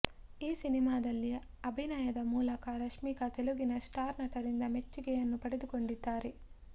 ಈ ಸಿನಿಮಾದಲ್ಲಿ ಅಭಿನಯದ ಮೂಲಕ ರಶ್ಮಿಕಾ ತೆಲುಗಿನ ಸ್ಟಾರ್ ನಟರಿಂದ ಮೆಚ್ಚುಗೆಯನ್ನು ಪಡೆದುಕೊಂಡಿದ್ದಾರೆ